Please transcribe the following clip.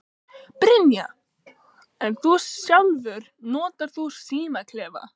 Brynja: En þú sjálfur, notar þú símaklefa?